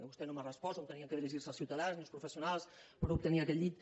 vostè no m’ha respost on havien de dirigir se els ciutadans ni els professionals per obtenir aquells llits